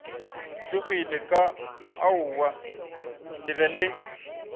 tlogile ka aowa le be